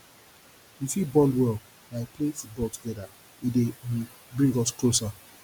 we fit bond well by playing football together e dey um bring us closer